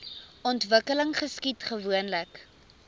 ontwikkeling geskied gewoonlik